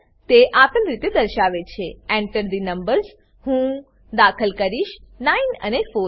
તે આપેલ રીતે દર્શાવે છે Enter થે નંબર્સ હું દાખલ કરીશ 9 અને 4